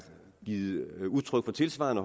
givet udtryk for tilsvarende